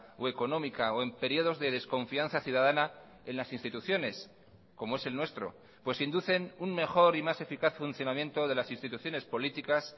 o económica o en periodos de desconfianza ciudadana en las instituciones como es el nuestro pues inducen un mejor y más eficaz funcionamiento de las instituciones políticas